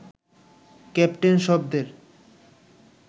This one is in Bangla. ক্যাপ্টেন শব্দের